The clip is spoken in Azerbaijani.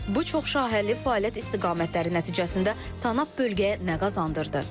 Bəs bu çoxşaxəli fəaliyyət istiqamətləri nəticəsində Tanap bölgəyə nə qazandırdı?